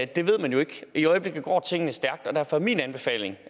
det ved man jo ikke i øjeblikket går tingene stærkt og derfor er min anbefaling